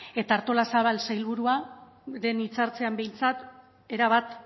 eta artolazabal sailburua lehen hitzartzean behintzat erabat